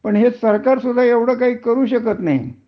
पण हे सरकार सढ एवढ काही करू शकत नाही